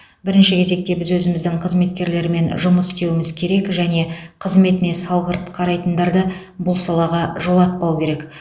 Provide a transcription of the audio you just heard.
бірінші кезекте біз өзіміздің қызметкерлермен жұмыс істеуіміз керек және қызметіне салғырт қарайтындарды бұл салаға жолатпау керек